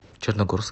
черногорск